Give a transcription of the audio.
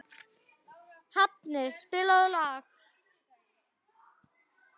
Hafni, spilaðu lag.